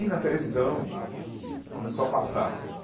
E na televisão começou a passar.